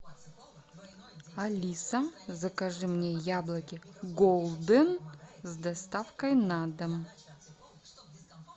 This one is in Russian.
алиса закажи мне яблоки голден с доставкой на дом